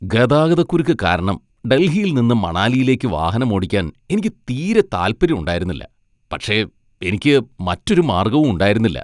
ഗതാഗതക്കുരുക്ക് കാരണം ഡൽഹിയിൽ നിന്ന് മണാലിയിലേക്ക് വാഹനമോടിക്കാൻ എനിക്ക് തീരെ താല്പര്യം ഉണ്ടായിരുന്നില്ല, പക്ഷേ എനിക്ക് മറ്റൊരു മാർഗ്ഗവും ഉണ്ടായിരുന്നില്ല .